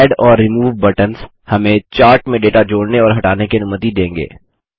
add और remove buttons हमें chart में डेटा जोड़ने और हटाने की अनुमति देंगे